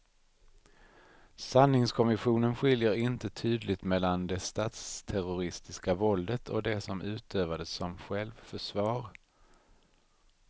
Sanningskommissionen skiljer inte tydligt mellan det statsterroristiska våldet och det som utövades som självförsvar.